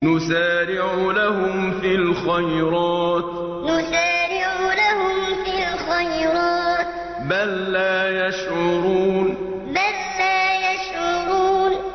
نُسَارِعُ لَهُمْ فِي الْخَيْرَاتِ ۚ بَل لَّا يَشْعُرُونَ نُسَارِعُ لَهُمْ فِي الْخَيْرَاتِ ۚ بَل لَّا يَشْعُرُونَ